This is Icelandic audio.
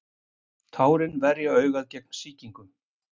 Tárin verja augað gegn sýkingum.